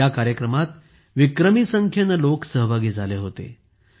ह्या कार्यक्रमात विक्रमी संख्येने लोक सहभागी झाले होते